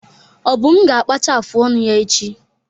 Obum ga-akpacha afụ ọnụ ya echi.